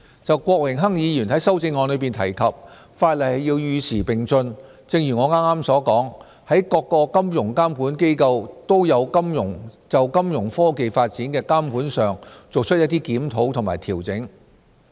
就郭榮鏗議員在修正案中提及法例要與時並進，正如我剛才所說，各個金融監管機構都有就金融科技發展的監管上作出一些檢討和調整。